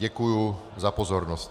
Děkuji za pozornost.